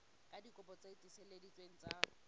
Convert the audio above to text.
ka dikopi tse tiiseleditsweng tsa